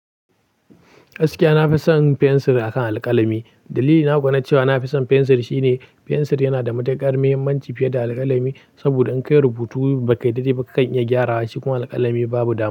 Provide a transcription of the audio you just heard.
Gaskiya na fi son fensir a kan alƙalami. Dalili na kuwa na cewa na fi son fensir shi ne, fensir yana da matukar mahimmanci fiye da alƙalami. Saboda in ka yi rubutu ba ka dade ba kakan iya gyarawa shi kuma alƙalami babu dama.